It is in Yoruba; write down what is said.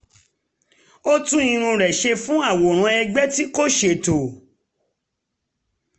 ó tún irun rẹ̀ ṣe fún àwòrán ẹgbẹ́ tí kò ṣètò